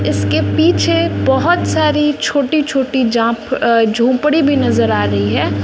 इसके पीछे बहोत सारी छोटी छोटी जाप अ झोपड़ी भी नजर आ रही है।